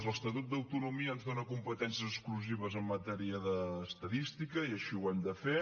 l’estatut d’autonomia ens dóna competències exclusives en matèria d’estadística i així ho hem de fer